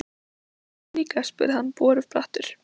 Og kommarnir líka? spurði hann borubrattur.